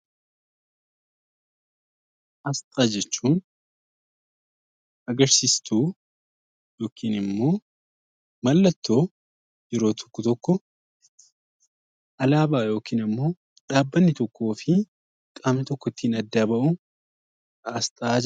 Asxaa jechuun agarsiistu yookiin immoo mallattoo yeroo tokko, tokko alaabaa yookiin immoo dhabbanni tokkoofi qaamni tokko ittiin adda ba'u asxaa jedhama.